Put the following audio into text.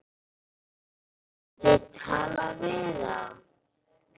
Hafið þið talað við þá?